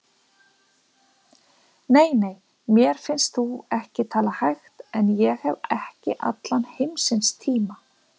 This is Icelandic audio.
Nei, nei, mér finnst þú ekki tala hægt en ég hef ekki allan heimsins tíma.